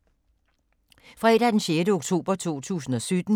Fredag d. 6. oktober 2017